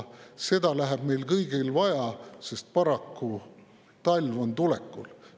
Seda läheb meil kõigil vaja, sest paraku on talv tulekul.